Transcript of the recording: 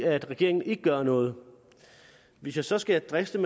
at regeringen ikke gør noget hvis jeg så skal driste